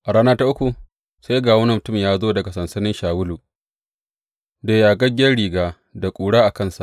A rana ta uku sai ga wani mutum ya zo daga sansanin Shawulu da yagaggen riga da ƙura a kansa.